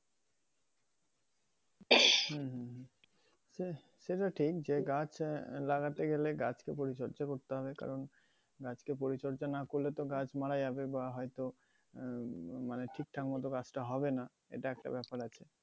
হম। সে~ সেটা ঠিক যে গাছ আহ লাগাতে গেলে গাছকে পরিচর্যা করতে হবে কারণ গাছকে পরিচর্যা না করলে তো গাছ মারা যাবে বা হয়তো উম মানে ঠিকঠাক মতো গাছটা হবেনা এটা একটা ব্যাপার আর কি।